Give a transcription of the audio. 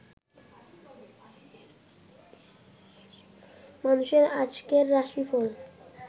মানুষের আজকের রাশি ফল